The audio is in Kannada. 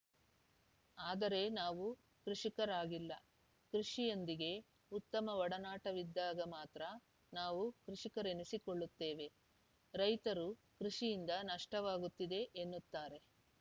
ಆದರೆ ನಾವು ಕೃಷಿಕರಾಗಿಲ್ಲ ಕೃಷಿಯೊಂದಿಗೆ ಉತ್ತಮ ಒಡನಾಟವಿದ್ದಾಗ ಮಾತ್ರ ನಾವು ಕೃಷಿಕರೆನಿಸಿಕೊಳ್ಳುತ್ತೇವೆ ರೈತರು ಕೃಷಿಯಿಂದ ನಷ್ಟವಾಗುತ್ತಿದೆ ಎನ್ನುತ್ತಾರೆ